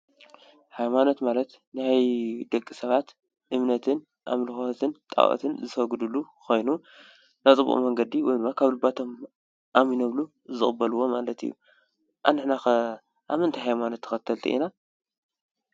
ሃይማኖት ማለት ናይ ደቂ ሰባት እምነትን ኣምኮትን ጣኦትን ዝሰግዱሉ ኮይኑ ናይ ጥቅኡ መንገዲ ወይ ድማ ካብ ልባቶም ኣሚኖምሉ ዝቅበልዎ ማለት እዩ። ኣንሕናከ ኣብ ምንታይ ሃይማኖት እምነት ተከተልቲ ኢና?